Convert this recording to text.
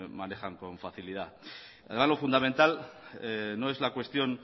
manejan con facilidad ahora lo fundamental no es la cuestión